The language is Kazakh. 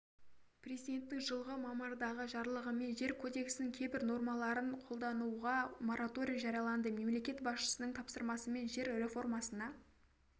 президентінің жылғы мамырдағы жарлығымен жер кодексінің кейбір нормаларын қолдануға мораторий жарияланды мемлекет басшысының тапсырмасымен жер реформасына